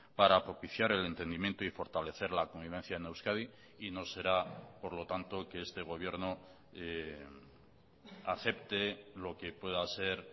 para propiciar el entendimiento y fortalecer la convivencia en euskadi y no será por lo tanto que este gobierno acepte lo que pueda ser